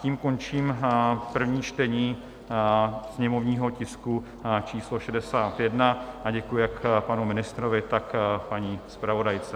Tím končím první čtení sněmovního tisku číslo 61 a děkuji jak panu ministrovi, tak paní zpravodajce.